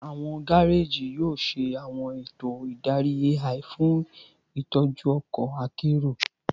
Awọn gareji yoo ṣe awọn eto idari AI fun itọju ọkọ akero